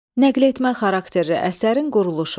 Nəql etmə xarakterli əsərin quruluşu.